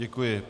Děkuji.